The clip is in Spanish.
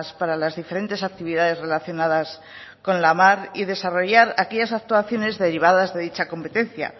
para las diferentes actividades relacionadas con la mar y desarrollar aquellas actuaciones derivadas de dicha competencia